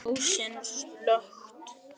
Ljósin slökkt.